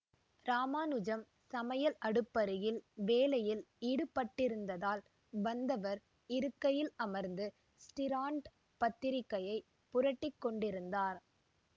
இராமானுஜன் சமையல் அடுப்பருகில் வேலையில் ஈடுபட்டிருந்ததால் வந்தவர் இருக்கையில் அமர்ந்து ஸ்டிராண்ட் பத்திரிகையைப் புரட்டிக் கொண்டிருந்தார்